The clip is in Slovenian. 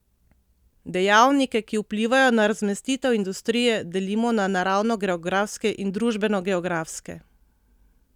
Dejavnike, ki vplivajo na razmestitev industrije, delimo na naravnogeografske in družbenogeografske.